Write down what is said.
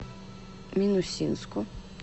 минусинску